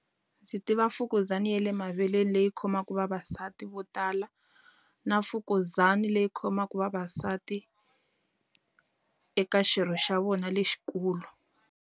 Ndzi tiva mfukuzana ya le maveleni leyi khomaka vavasati vo tala, na mfukuzana leyi khomaka vavasati eka xirho xa vona lexikulu.